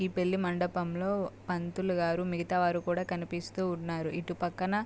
ఈ పెళ్లి మండపంలో పంతులుగారు మిగతా వాళ్ళు కూడా కనిపిస్తూ ఉన్నారు. ఇటు పక్కన --